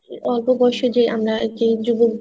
অল্প বয়সে যে আমরা যে যুবক